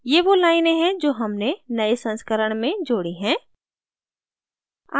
ये वो लाइनें हैं जो हमने नए संस्करण में जोड़ी हैं